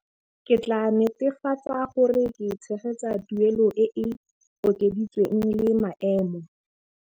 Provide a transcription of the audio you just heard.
Ke tla netefatsa gore ke tshegetsa tuelo e e okeditsweng le maemo.